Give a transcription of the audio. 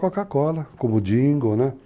A da Coca-Cola, como o dingo, né?